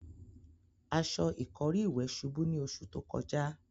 Aṣọ ìkọ́rí ìwẹ̀ ṣubú ní oṣù tó kọjá.